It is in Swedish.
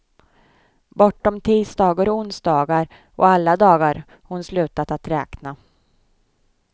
Bortom tisdagar och onsdagar och alla dagar hon slutat att räkna.